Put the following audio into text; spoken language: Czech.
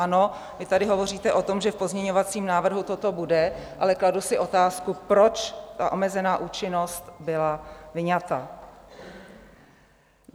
Ano, vy tady hovoříte o tom, že v pozměňovacím návrhu toto bude, ale kladu si otázku, proč ta omezená účinnost byla vyňata?